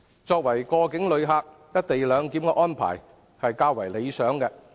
作為過境旅客，"一地兩檢"安排是較為理想的。